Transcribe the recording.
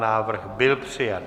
Návrh byl přijat.